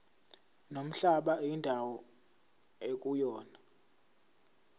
nomhlaba indawo ekuyona